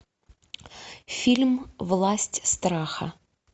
фильм власть страха